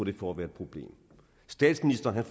et problem problem statsministeren